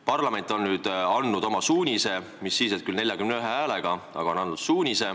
Parlament on andnud oma suunise, mis siis, et 41 häälega.